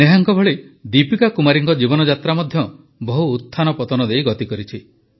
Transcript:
ନେହାଙ୍କ ଭଳି ଦୀପିକା କୁମାରୀ ଜୀଙ୍କ ଜୀବନଯାତ୍ରା ମଧ୍ୟ ବହୁ ଉତ୍ଥାନ ପତନ ଦେଇ ଗତି କରିଛି